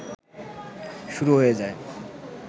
শুরু হয়ে যায়